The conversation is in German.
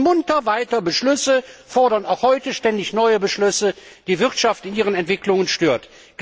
Wir fassen munter weiter Beschlüsse, fordern auch heute ständig neue Beschlüsse, die die Wirtschaft in ihren Entwicklungen stören.